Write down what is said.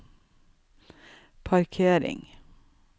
parkering